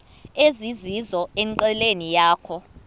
ezizizo enqileni yakho